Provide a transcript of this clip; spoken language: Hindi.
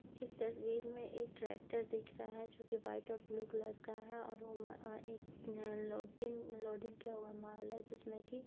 इस तस्वीर में एक ट्रैक्टर दिख रहा है जोकि वाइट और ब्लू कलर का है और वो म अ एक लोडिंग लोड़िंग किया हुआ माल है जिसमें कि --